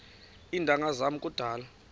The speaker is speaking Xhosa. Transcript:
iintanga zam kudala